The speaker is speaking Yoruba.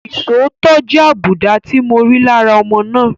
Isòótọ́ jẹ́ àbùdá tí mo rí lára ọmọ náà.